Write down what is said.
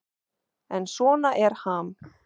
En svona er Ham.